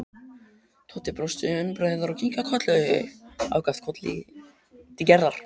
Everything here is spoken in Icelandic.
Tóti brosti enn breiðar og kinkaði ákaft kolli til Gerðar.